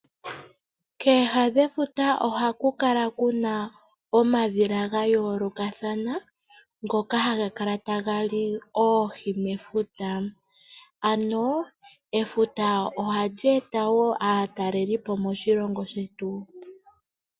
Kooha dhefuta ohaku kala kuna omadhila gayoolokathana ngoka haga kala taga li oohi mefuta ano efuta ohali eta aatalelipo moshilongo shetu.